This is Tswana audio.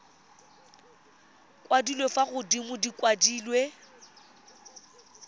kwadilwe fa godimo di kwadilwe